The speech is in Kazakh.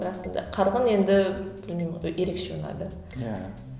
расында қарғын енді білмеймін ерекше ұнады иә